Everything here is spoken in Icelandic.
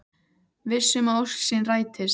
Viss um að ósk sín rætist.